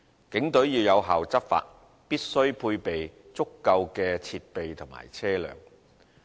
警隊要有效執法，必須配備足夠的設備和車輛。